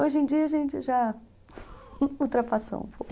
Hoje em dia a gente já ultrapassou um pouco.